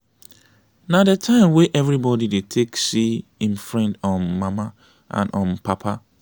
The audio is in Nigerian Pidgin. na de time wey everybody dey take see im friend um mama and um papa.